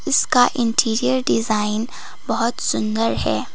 इसका interior design बहोत सुंदर है।